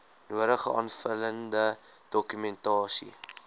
nodige aanvullende dokumentasie